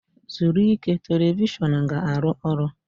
zuru ike, telivishọn ga-arụ ọrụ.